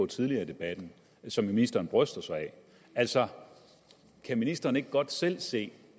tidligere i debatten og som ministeren bryster sig af altså kan ministeren ikke godt selv se